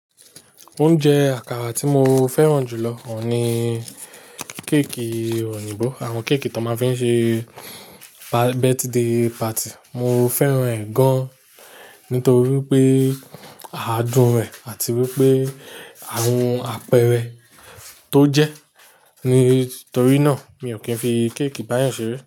Oúnjẹ àkàrà tí mo fẹ́ràn jù lọ o ní akara oyínbọ́. Àwọn akara oyinbo tó máa ń fi ṣe birthday party. Mo fẹ́ràn ẹ̀ gan, nítorí pé àádùn rẹ̀ àti wípé àwọn àpẹẹrẹ tó jẹ. Nítorí náà mi ò kí ń fi akara Oyinbo báyẹn ṣeré.